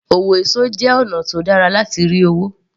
Òwò juice jẹ́ ọ̀nà tó dára láti rí owó